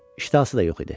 İştahası da yox idi.